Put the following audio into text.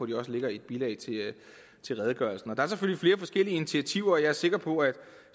de også ligger i et bilag til redegørelsen der er selvfølgelig flere forskellige initiativer og jeg er sikker på at